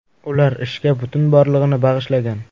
Ular ishga butun borlig‘ini bag‘ishlagan.